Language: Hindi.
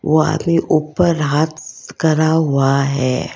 वो आदमी ऊपर हाथ करा हुआ है।